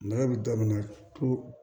Nɛgɛ bɛ daminɛ to